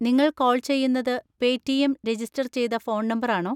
നിങ്ങൾ കോൾ ചെയ്യുന്നത് Paytm register ചെയ്ത ഫോൺ നമ്പർ ആണോ?